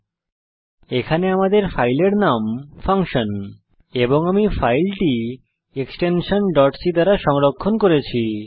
উল্লেখ্য যে আমাদের ফাইলের নাম ফাঙ্কশন এবং আমি ফাইলটি এক্সটেনশন c দ্বারা সংরক্ষণ করেছি